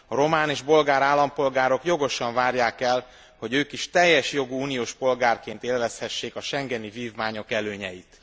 Román és bolgár állampolgárok jogosan várják el, hogy ők is teljes jogú uniós polgárként élvezhessék a schengeni vívmányok előnyeit.